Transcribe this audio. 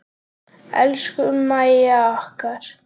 Elsku Mæja okkar.